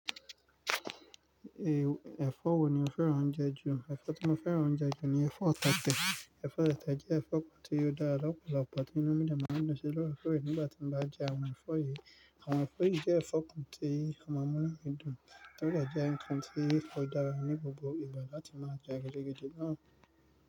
Eh, ẹ̀fọ wo ni o fẹ́ràn oúnjẹ jù? Ẹ̀fọ tí mo fẹ́ràn oúnjẹ jù ni ẹ̀fọ tátẹ. Ẹ̀fọ tétẹ jẹ́ ẹ̀fọ kan tí ó dára lọ́pọ̀lọpọ̀, tí inú mí dàmú ń lọ sí lọ́wọ́ fún rẹ̀ nígbà tí mo bá jẹ àwọn ẹ̀fọ yìí. Àwọn ẹ̀fọ yìí jẹ́ ẹ̀fọ kan tí ọmọ mú nínú mi dùn nígbà tí a ń jẹ́ nkán tí fọ dára ní gbogbo ìgbà láti máa jẹ gidi gidí náà.